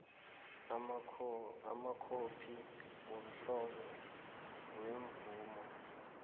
amakhophi womhlobo wemvumo